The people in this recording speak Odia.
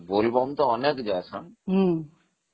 ବୋଲବମ ତ ଅନେକ ଯାଉଛନ୍ତି